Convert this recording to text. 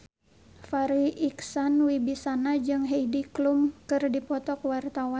Farri Icksan Wibisana jeung Heidi Klum keur dipoto ku wartawan